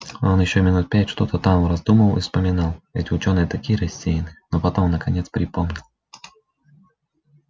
он ещё минут пять что-то там раздумывал и вспоминал эти учёные такие рассеянные но потом наконец припомнил